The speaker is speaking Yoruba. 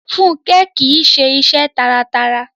Fúnkẹ́ kìíse iṣẹ́ taratara